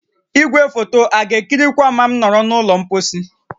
Igwefoto a ga-ekirikwa m ma m nọrọ n'ụlọ mposi?